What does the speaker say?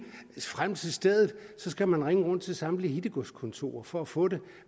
frem til stedet skal man ringe rundt til samtlige hittegodskontorer for at få det